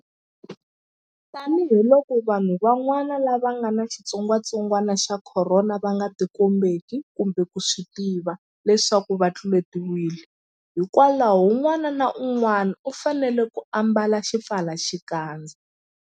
Tanihiloko vanhu van'wana lava nga ni xitsongwantsongwana xa Khorona va nga tikombeki kumbe ku swi tiva leswaku va tluletiwile, hikwalaho un'wana na un'wana u fanele ku ambala xipfalaxikandza.